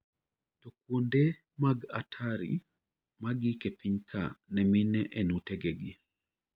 To kuonde mag atari maagik e pinyka ne mine en utegegi.